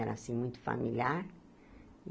Era, assim, muito familiar.